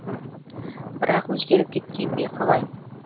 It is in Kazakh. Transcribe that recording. бірақ өзгеріп кеткен бе қалай